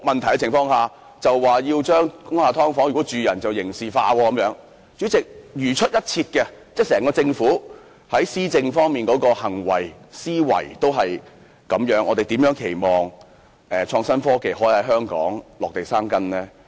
代理主席，當整個政府如出一轍，在施政上的思維和行為也是如此時，我們如何期望創新科技可在香港落地生根呢？